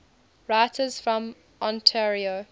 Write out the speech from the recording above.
writers from ontario